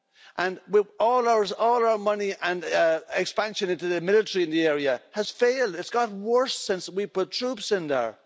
And all our money and expansion into the military in the area has failed it's got worse since we put troops in there.